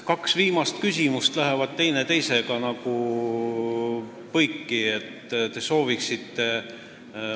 Kaks viimast küsimust lähevad teineteisega nagu põiki.